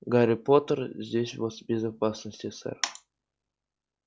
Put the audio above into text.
гарри поттер здесь у вас в безопасности сэр